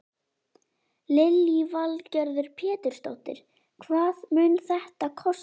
Lillý Valgerður Pétursdóttir: Hvað mun þetta kosta?